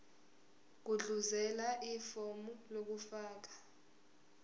gudluzela ifomu lokufaka